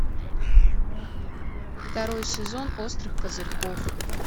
второй сезон острых козырьков